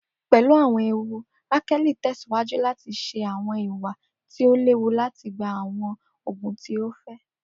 Pelu awọn ewu, Rakeli tẹsiwaju lati ṣe awọn iwa ti o lewu lati gba awọn oogun ti o fẹ.